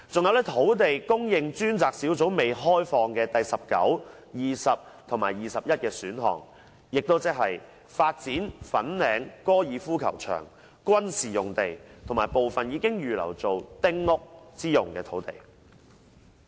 還有土地供應專責小組未開放的第十九、二十和二十一的選項，即發展粉嶺高爾夫球場、軍事用地和部分已預留建丁屋之用的土地。